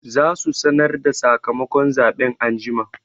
Za su sanar da sakamakon zaɓen anjima